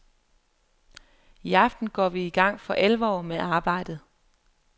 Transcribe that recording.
I aften går vi i gang for alvor med arbejdet.